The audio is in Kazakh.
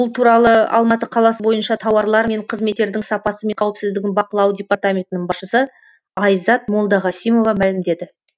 бұл туралы алматы қаласы бойынша тауарлар мен қызметтердің сапасы мен қауіпсіздігін бақылау департаментінің басшысы айзат молдағасимова мәлімдеді